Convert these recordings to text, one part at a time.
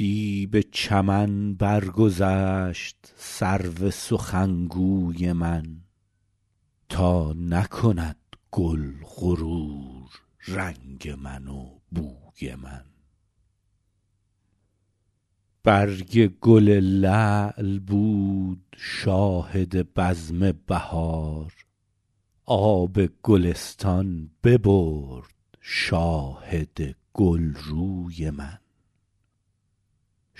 دی به چمن برگذشت سرو سخنگوی من تا نکند گل غرور رنگ من و بوی من برگ گل لعل بود شاهد بزم بهار آب گلستان ببرد شاهد گلروی من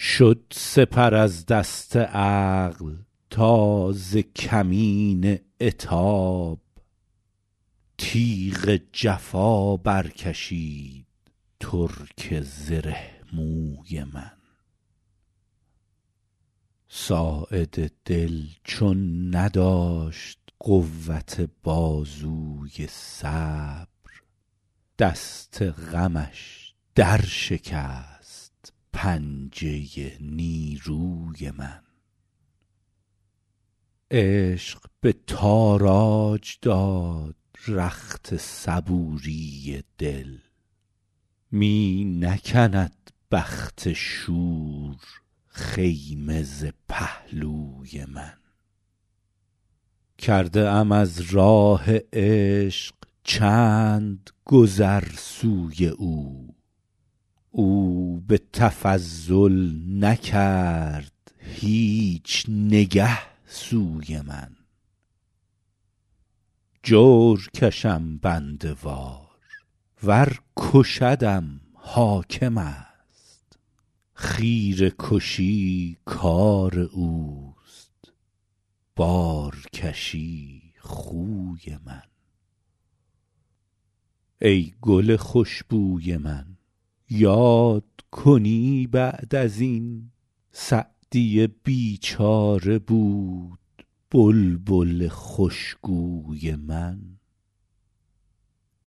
شد سپر از دست عقل تا ز کمین عتاب تیغ جفا برکشید ترک زره موی من ساعد دل چون نداشت قوت بازوی صبر دست غمش درشکست پنجه نیروی من عشق به تاراج داد رخت صبوری دل می نکند بخت شور خیمه ز پهلوی من کرده ام از راه عشق چند گذر سوی او او به تفضل نکرد هیچ نگه سوی من جور کشم بنده وار ور کشدم حاکم است خیره کشی کار اوست بارکشی خوی من ای گل خوش بوی من یاد کنی بعد از این سعدی بیچاره بود بلبل خوشگوی من